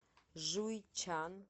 жуйчан